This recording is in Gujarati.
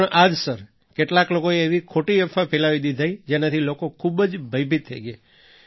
કારણ આ જ સર કેટલાક લોકોએ એવી ખોટી અફવા ફેલાવી દીધી જેનાથી લોકો ખૂબ જ ભયભીત થઈ ગયા